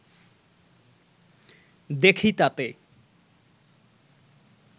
দেখি তাতে